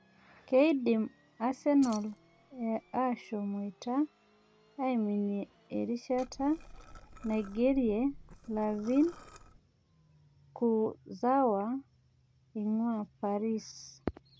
Kedim asenal ashomoita aiminie erishata naigerie layvin Kurzawa eing'ua paris